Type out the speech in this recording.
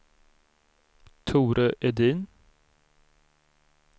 Tore Edin